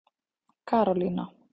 Karólína